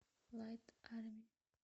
лайт арми